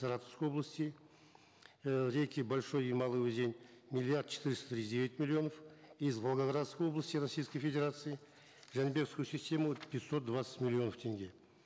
саратовской области э реки большой и малый узень миллиард четыреста тридцать девять миллионов из волгоградской области российской федерации в жанибекскую систему пятьсот двадцать миллионов тенге